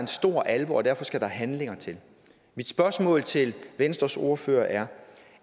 stor alvor og derfor skal der handling til mit spørgsmål til venstres ordfører er